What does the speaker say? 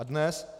A dnes?